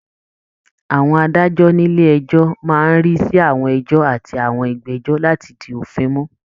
Àwọn adájọ́ nílé ẹjọ́ máa ń rí sí àwọn ẹjọ́ àti àwọn ìgbẹ́jọ́ láti di òfin mú